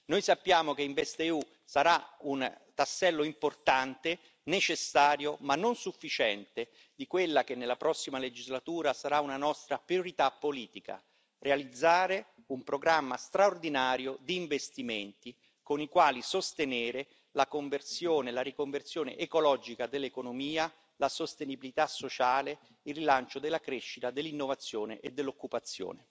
Noi sappiamo che InvestEU sarà un tassello importante, necessario ma non sufficiente di quella che nella prossima legislatura sarà una nostra priorità politica realizzare un programma straordinario di investimenti con i quali sostenere la conversione, la riconversione ecologica dell'economia, la sostenibilità sociale, il rilancio della crescita, dell'innovazione e dell'occupazione.